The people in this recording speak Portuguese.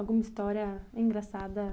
Alguma história engraçada?